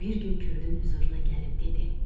Bir gün Kürdün hüzuruna gəlib dedi.